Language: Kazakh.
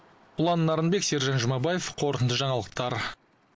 ұлан нарынбек сержан жұмабаев қорытынды жаңалықтар